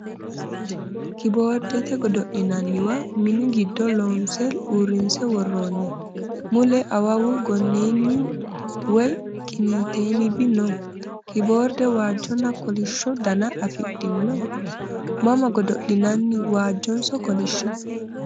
Kiboordete godo'linanniwa mini giddo loonse uurrinse worroonni. Mule awawu gonneenni woyi qiniiteenbi no. Kiboorde waajjonna kolishsho Dana afidhino? Mama godo'linanni waajhonso kolishsho?